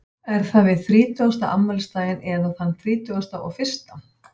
Er það við þrítugasta afmælisdaginn eða þann þrítugasta og fyrsta?